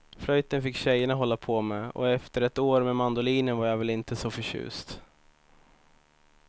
Flöjten fick tjejerna hålla på med och efter ett år med mandolinen var jag väl inte så förtjust.